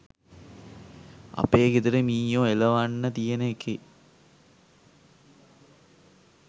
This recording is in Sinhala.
අපේ ගෙදර මීයෝ එලවන්න තියන එකේ